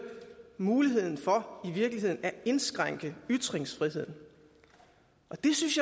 muligheden for i virkeligheden at indskrænke ytringsfriheden det synes